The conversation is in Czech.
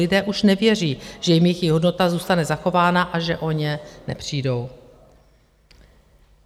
Lidé už nevěří, že jim jejich hodnota zůstane zachována a že o ně nepřijdou.